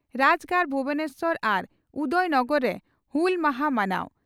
ᱨᱟᱡᱽᱜᱟᱲ ᱵᱷᱩᱵᱚᱱᱮᱥᱚᱨ ᱟᱨ ᱩᱫᱚᱭ ᱱᱚᱜᱚᱨ ᱨᱮ ᱦᱩᱞ ᱢᱟᱦᱟᱸ ᱢᱟᱱᱟᱣ